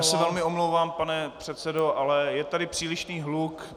Já se velmi omlouvám, pane předsedo, ale je tady přílišný hluk.